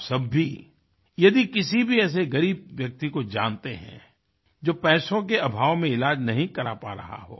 आप सब भी यदि किसी भी ऐसे ग़रीब व्यक्ति को जानते है जो पैसों के अभाव में इलाज नहीं करा पा रहा हो